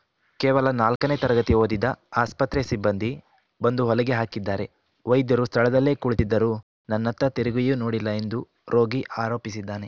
ಕೇವಲ ನಾಲ್ಕನೇ ತರಗತಿ ಓದಿದ ಆಸ್ಪತ್ರೆ ಸಿಬ್ಬಂದಿ ಬಂದು ಹೊಲಿಗೆ ಹಾಕಿದ್ದಾರೆ ವೈದ್ಯರು ಸ್ಥಳದಲ್ಲೇ ಕುಳಿತಿದ್ದರೂ ನನ್ನತ್ತ ತಿರುಗಿಯೂ ನೋಡಿಲ್ಲ ಎಂದು ರೋಗಿ ಆರೋಪಿಸಿದ್ದಾನೆ